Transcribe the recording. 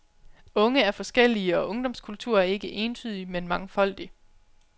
Unge er forskellige, og ungdomskultur er ikke entydig, men mangfoldig.